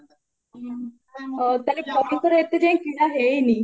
ତାହାହେଲେ ଙ୍କର ଏତେ ଯାଏ କିଣା ହେଇନି